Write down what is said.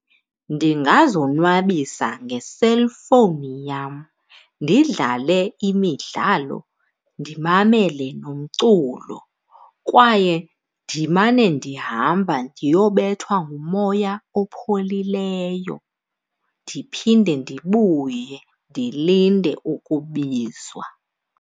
Ndingazonwabisa ngeselfowuni yam ndidlale imidlalo, ndimamele nomculo, kwaye ndimane ndihamba ndiyobethwa ngumoya opholileyo ndiphinde ndibuye ndilinde ukubizwa.